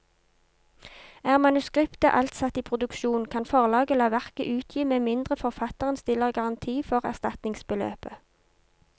Er manuskriptet alt satt i produksjon, kan forlaget la verket utgi med mindre forfatteren stiller garanti for erstatningsbeløpet.